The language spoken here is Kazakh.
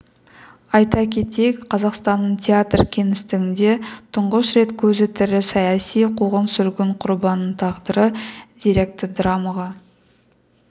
айта кетейік қазақстанның театр кеңістігінде тұңғыш рет көзі тірі саяси қуғын-сүргін құрбанының тағдыры деректі драмаға